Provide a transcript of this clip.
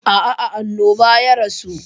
A'a, a annoba ya rasu.